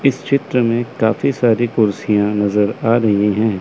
इस चित्र में काफी सारी कुर्सियां नजर आ रही हैं।